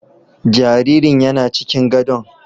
Jaririn yana cikin gadon